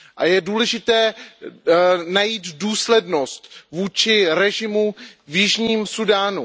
Je důležité najít důslednost vůči režimu v Jižním Súdánu.